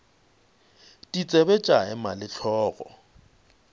ditsebe tša ema le hlogo